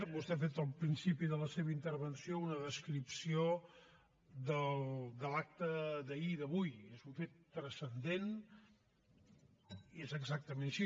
vostè ha fet al principi de la seva intervenció una descripció de l’acte d’ahir i d’avui és un fet transcendent i és exactament així